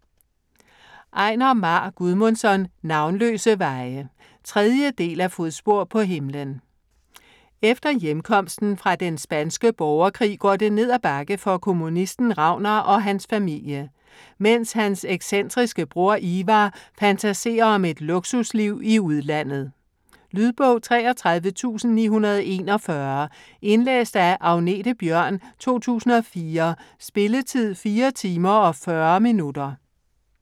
Einar Már Guðmundsson: Navnløse veje 3. del af Fodspor på himlen. Efter hjemkomsten fra den spanske borgerkrig går det ned ad bakke for kommunisten Ragnar og hans familie, mens hans excentriske bror Ivar fantaserer om et luksusliv i udlandet. Lydbog 33941 Indlæst af Agnethe Bjørn, 2004. Spilletid: 4 timer, 40 minutter.